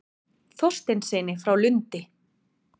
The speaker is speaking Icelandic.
Þorsteinssyni frá Lundi.